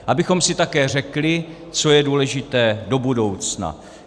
Abychom si také řekli, co je důležité do budoucna.